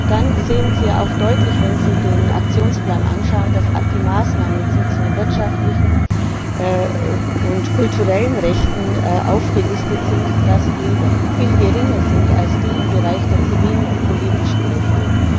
Dann sehen Sie auch deutlich, wenn Sie den Aktionsplan anschauen, dass die Maßnahmen, die zu wirtschaftlichen und kulturellen Rechten aufgelistet sind, viel geringer sind als die im Bereich der zivilen und politischen Rechte.